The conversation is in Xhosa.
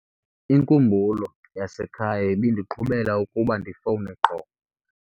Inkumbulo yasekhaya ibindiqhuba ukuba ndifowune qho.